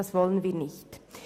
Das wollen wir nicht.